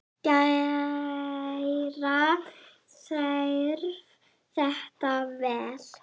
Gera þarf þetta vel.